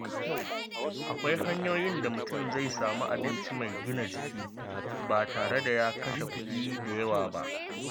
Akwai hanyoyin da mutum zai samu abinci mai gina jiki ba tare da ya kashe kuɗi da yawa ba.